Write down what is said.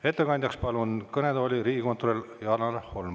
Ettekandjaks palun kõnetooli riigikontrolör Janar Holmi.